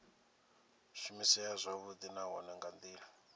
shumisea zwavhudi nahone nga ndila